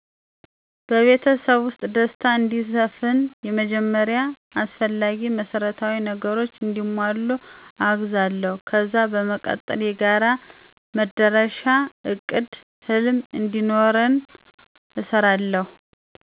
በቤተሰቤ ውስጥ ደስታ እንዲሰፍን በመጀመሪያ አስፈላጊ መሰረታዊ ነገሮች እንዲሟሉ አወግዛለሁ። ከዛ በመቀጠል የጋራ መዳረሻ እቅዳ ህልም እንዲኖረን እሰራለሁ።